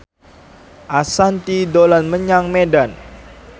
Ashanti dolan menyang Medan